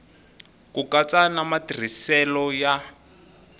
ku katsa na matirhiselo ya